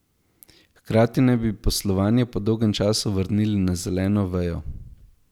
Hkrati naj bi poslovanje po dolgem času vrnili na zeleno vejo.